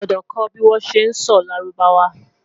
o gbọdọ kò bi wọn ṣẹ sọ lárúbáwá